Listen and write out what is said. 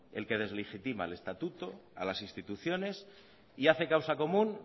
el que deslegitima al estatuto a las instituciones y hace causa común